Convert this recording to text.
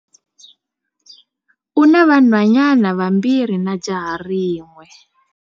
U na vanhwanyana vambirhi na jaha rin'we.